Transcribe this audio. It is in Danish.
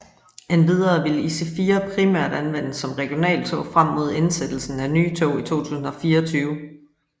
Endvidere ville IC4 primært anvendes som regionaltog frem mod indsættelsen af nye tog i 2024